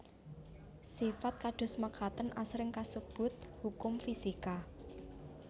Sifat kados mekaten asring kasebut hukum fisika